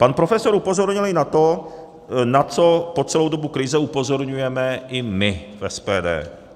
Pan profesor upozornil i na to, na co po celou dobu krize upozorňujeme i my v SPD.